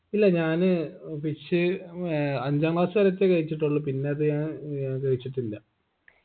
ഇല്ല ഞാൻ fish ഏർ അഞ്ചാം class വരെത്തെ കഴിച്ചിട്ടുള്ളു പിന്നത് ഏർ ഞാൻ കഴിച്ചിട്ടില്ല